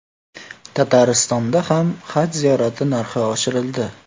Tataristonda ham haj ziyorati narxi oshirildi.